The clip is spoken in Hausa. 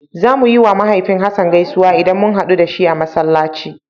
Zamu yiwa mahaifin Hassan gaisuwa idan mun haɗu da shi a Masallaci.